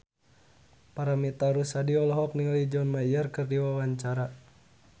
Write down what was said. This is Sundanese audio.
Paramitha Rusady olohok ningali John Mayer keur diwawancara